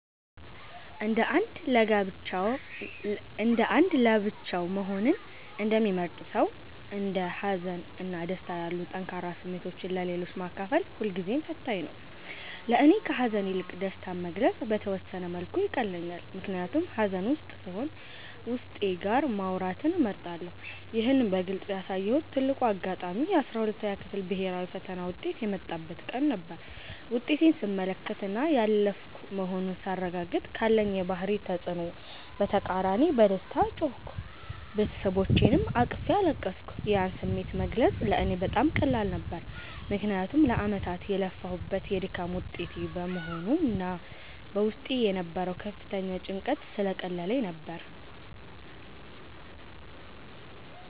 እንደ አንድ ለብቻው መሆንን እንደሚመርጥ ሰው፣ እንደ ሀዘን እና ደስታ ያሉ ጠንካራ ስሜቶችን ለሌሎች ማካፈል ሁልጊዜም ፈታኝ ነው። ለእኔ ከሐዘን ይልቅ ደስታን መግለጽ በተወሰነ መልኩ ይቀለኛል፤ ምክንያቱም ሐዘን ውስጥ ስሆን ዉስጤ ጋር ማውራትን እመርጣለሁ። ይህን በግልጽ ያሳየሁበት ትልቁ አጋጣሚ የ12ኛ ክፍል ብሔራዊ ፈተና ውጤት የመጣበት ቀን ነበር። ውጤቴን ስመለከትና ያለፍኩ መሆኑን ሳረጋግጥ፤ ካለኝ የባህሪ ተጽዕኖ በተቃራኒ በደስታ ጮህኩ፤ ቤተሰቦቼንም አቅፌ አለቀስኩ። ያን ስሜት መግለጽ ለእኔ በጣም ቀላል ነበር፤ ምክንያቱም ለዓመታት የለፋሁበት የድካሜ ውጤት በመሆኑና በውስጤ የነበረው ከፍተኛ ጭንቀት ስለቀለለልኝ ነበር።